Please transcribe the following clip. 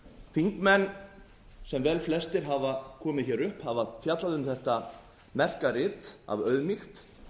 þingmenn sem velflestir hafa komið hér upp hafa fjallað um þetta merka rit af auðmýkt